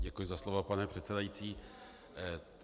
Děkuji za slovo, pane předsedající.